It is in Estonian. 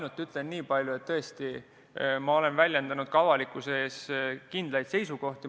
Ütlen ainult nii palju, et ma olen ka avalikkuse ees kindlaid seisukohti väljendanud.